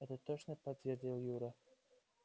это точно подтвердил юра